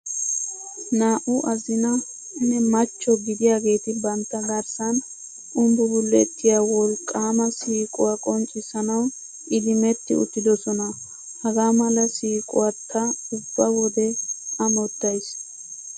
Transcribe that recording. Naa"u azina nne machcho gidiyageeti bantta garssan umbbumbulettiya wolqqaama siiquwa qonccissanawu idimmetti uttidosona. Hagaa mala siiquwa ta ubba wode amottayiis.